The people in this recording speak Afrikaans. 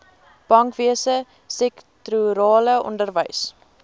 bankwese sektorale onderwys